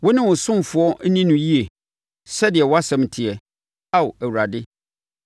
Wo ne wo ɔsomfoɔ nni no yie sɛdeɛ wʼasɛm teɛ, Ao Awurade.